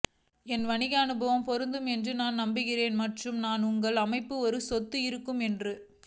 என் வணிக அனுபவம் பொருந்தும் என்று நான் நம்புகிறேன் மற்றும் நான் உங்கள் அமைப்பு ஒரு சொத்து இருக்கும் என்று